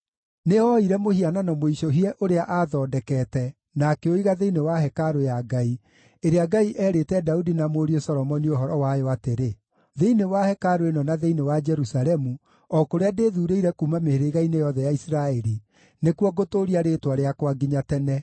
Nĩooire mũhianano mũicũhie ũrĩa aathondekete na akĩũiga thĩinĩ wa hekarũ ya Ngai, ĩrĩa Ngai eerĩte Daudi na mũriũ Solomoni ũhoro wayo atĩrĩ, “Thĩinĩ wa hekarũ ĩno na thĩinĩ wa Jerusalemu, o kũrĩa ndĩthuurĩire kuuma mĩhĩrĩga-inĩ yothe ya Isiraeli, nĩkuo ngũtũũria Rĩĩtwa rĩakwa nginya tene.